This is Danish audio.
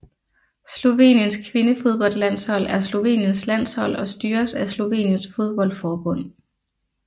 Sloveniens kvindefodboldlandshold er Sloveniens landshold og styres af Sloveniens fodboldforbund